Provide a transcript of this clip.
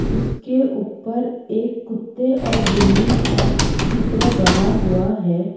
उसके ऊपर एक कुत्ते और बिल्ली का चित्र बना हुआ है।